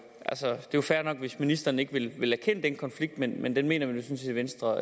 jo fair nok hvis ministeren ikke vil vil erkende den konflikt men men den mener vi i venstre